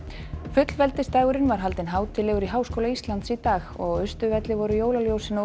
fullveldisdagurinn var haldinn hátíðlegur í Háskóla Íslands í dag og á Austurvelli voru jólaljósin á